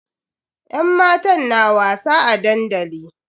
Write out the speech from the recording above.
Yan matan na wasa a dandali.